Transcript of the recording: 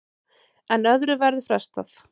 En öðru verður frestað.